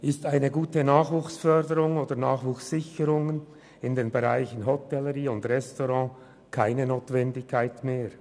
Ist eine gute Nachwuchssicherung in den Bereichen Hotellerie und Gastronomie keine Notwendigkeit mehr?